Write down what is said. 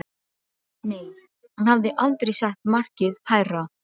Nei, hann hafði aldrei sett markið hærra.